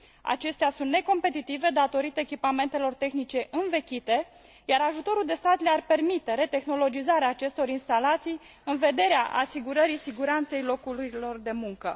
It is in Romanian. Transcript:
Acestea sunt necompetitive datorită echipamentelor tehnice învechite, iar ajutorul de stat le ar permite retehnologizarea acestor instalații în vederea asigurării siguranței locurilor de muncă.